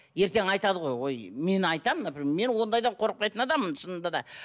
ертең айтады ғой ой мен айтамын например мен ондайдан қорықпайтын адаммын шынында да